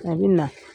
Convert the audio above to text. A bɛ na